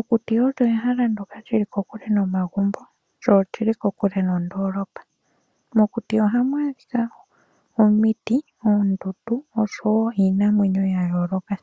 Okuti olyo ehala ndyoka lili kokule nomagumbo lyo olili kokule nondoolopa. Ohamu adhika omiti, oondundu osho wo iinamwenyo ya yooloka.